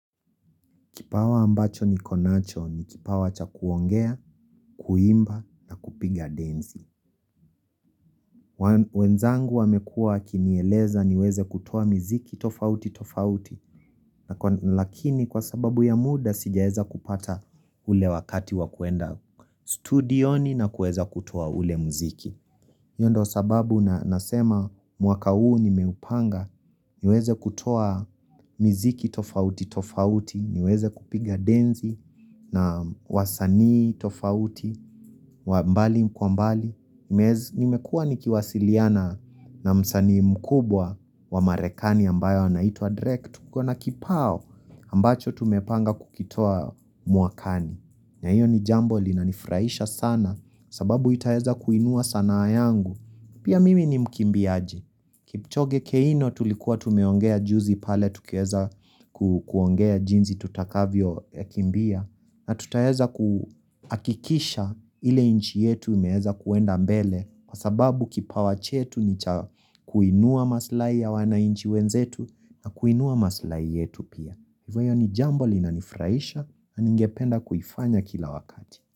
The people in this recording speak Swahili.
Kipawa ambacho niko nacho ni kipawa cha kuongea, kuimba, kupiga denzi. Wenzangu wamekua wakinieleza niweze kutoa miziki tofauti tofauti. Lakini kwa sababu ya muda sijaweza kupata ule wakati wa kuenda studioni na kuweza kutoa ule mziki. Hio ndo sababu nasema mwaka huu nimeupanga niweze kutoa miziki tofauti tofauti. Niweze kupiga denzi na wasanii tofauti mbali kwa mbali Nimekua nikiwasiliana na msani mkubwa wa marekani ambayo anaitwa drake Kwani tu na kibao ambacho tumepanga kukitoa mwakani na hiyo ni jambo linanifurahisha sana sababu itaeza kuinua sanaa yangu Pia mimi ni mkimbiaji Kipchoge keino tulikuwa tumeongea juzi pale Tukiweza kuongea jinsi tutakavyo yakimbia na tutaweza kuhakikisha ile nchi yetu imeweza kuenda mbele Kwa sababu kipawa chetu ni kuinua maslahi ya wanainchi wenzetu na kuinua maslahi yetu pia Hivyo ni jambo linanifurahisha na ningependa kuifanya kila wakati.